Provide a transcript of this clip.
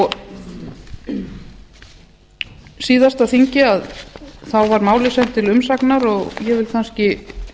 á síðasta þingi var málið sent til umsagnar og ég vil kannski